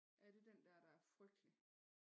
Er det den dér der er frygtelig?